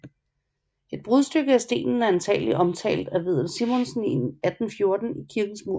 Et brudstykke af stenen er antagelig omtalt af Vedel Simonsen i 1814 i kirkens mur